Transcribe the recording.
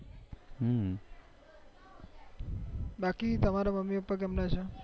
બાકી તમાર મમ્મી પપ્પાકેમના છે